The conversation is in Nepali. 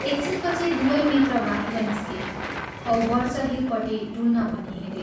एक छिनपछि दुवै मित्र बाहिर निस्के औ बर्चहिलपट्टि डुल्न भनी हिंडे।